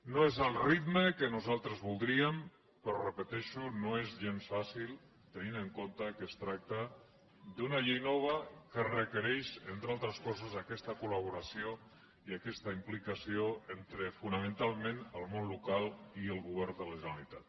no és el ritme que nosaltres voldríem però ho repeteixo no és gens fàcil tenint en compte que es tracta d’una llei nova que requereix entre altres coses aquesta col·laboració i aquesta implicació entre fonamentalment el món local i el govern de la generalitat